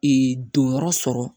don yɔrɔ sɔrɔ